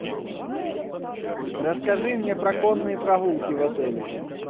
расскажи мне про конные прогулки в отеле